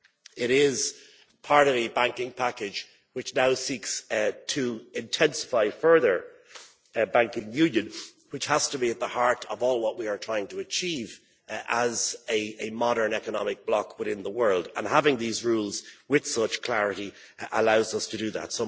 It is part of the banking package which now seeks to intensify further banking union, which has to be at the heart of all that we are trying to achieve as a modern economic bloc within the world and having these rules with such clarity allows us to do that.